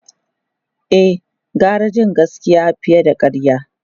E, gara jin gaskiya fiye da karya.